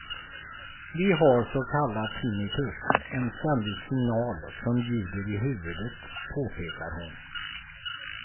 Vi har så kallad tinnitus, en ständig signal som ljuder i huvudet, påpekar hon.